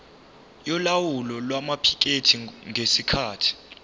yolawulo lwamaphikethi ngesikhathi